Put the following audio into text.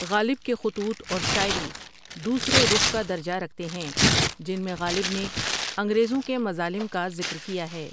غالب کے خطوط اور شاعری دوسرے رخ کا درجہ رکھتے ہیں جن میں غالب نے انگریزوں کے مظالم کا ذکر کیا ہے ۔